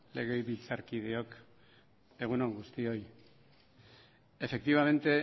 legebiltzarkideok egun on guztioi efectivamente